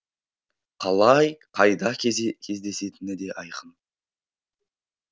қалай қайда кездесетіні де айқын